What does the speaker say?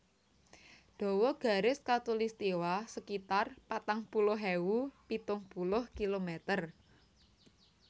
Dawa garis khatulistiwa sekitar patang puluh ewu pitung puluh kilometer